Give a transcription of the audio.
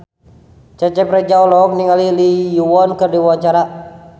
Cecep Reza olohok ningali Lee Yo Won keur diwawancara